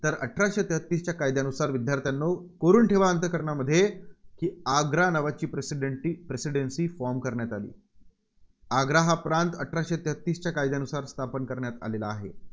तर अठराशे तेहतीसच्या कायद्यानुसार विद्यार्थ्यांनो कोरून ठेवा अंतःकरणामध्ये की आग्रा नावाची Presidenty Presidency form करण्यात आली. आग्रा हा प्रांत अठराशे तेहतीसच्या कायद्यानुसार स्थापन करण्यात आलेला आहे.